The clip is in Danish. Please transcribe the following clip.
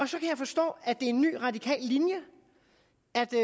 så kan jeg forstå at det er en ny radikal linje